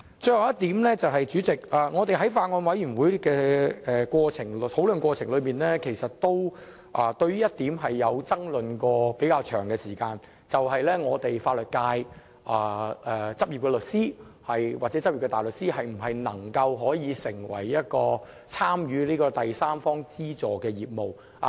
最後一點，代理主席，在法案委員會討論的過程中，有一點出現了比較長時間的爭論，便是法律界執業律師或大律師能否參與第三方資助的業務。